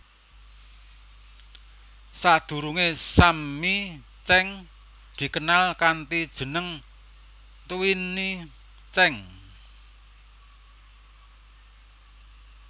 Sadhurungé Sammi Cheng dikenal kanthi jeneng Twinnie Cheng